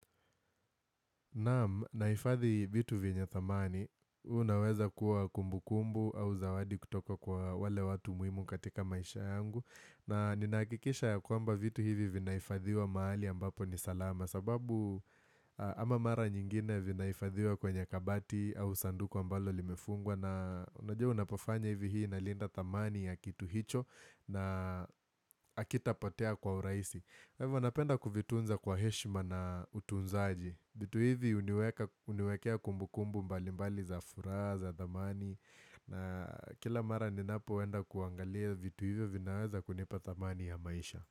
Naam, nahifadhi vitu venye thamani, unaweza kuwa kumbu kumbu au zawadi kutoka kwa wale watu muhimu katika maisha yangu. Na ninaakikisha ya kwamba vitu hivi vinahifadhiwa mahali ambapo ni salama. Sababu ama mara nyingine vinaifadhiwa kwenye kabati au sanduku ambalo limefungwa na unajua unapofanya hivi hii na linda thamani ya kitu hicho na akitapotea kwa urahisi. Kwa hivyo wanapenda kuvitunza kwa heshma na utunzaji vitu hivi huniwekea kumbu kumbu mbali mbali za furaha za thamani na kila mara ninapo enda kuangalia vitu hivyo vinaweza kunipa thamani ya maisha.